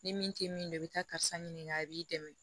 Ni min tɛ min don i bɛ taa karisa ɲininka a b'i dɛmɛ